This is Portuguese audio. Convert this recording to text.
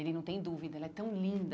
Ele não tem dúvida, ela é tão linda.